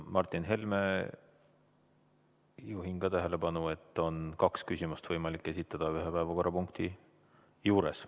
Martin Helme, juhin ka teie tähelepanu sellele, et ühe päevakorrapunkti juures on võimalik esitada kaks küsimust.